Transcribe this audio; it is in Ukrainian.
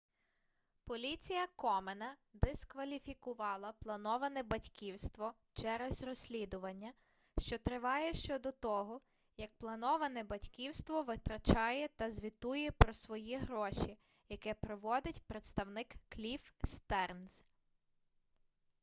поліція комена дискваліфікувала плановане батьківство через розслідування що триває щодо того як плановане батьківство витрачає та звітує про свої гроші яке проводить представник кліфф стернз